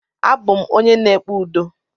Abụ m onye na-ekpe udo.